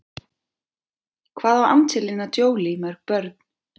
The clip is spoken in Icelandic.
Hvað á Angelina Jolie mörg börn?